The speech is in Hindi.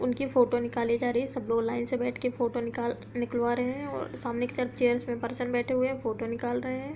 उनकी फोटो निकाली जा रही है। सब लोग लाइन से बैठ के फोटो निकाल निकलवा रहे हैं और सामने एक चेयरस में पर्सन बैठ के फोटो निकाल रहे हैं।